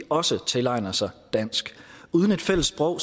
også tilegner sig dansk uden et fælles sprog